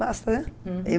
Basta, né?